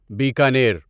Bikaner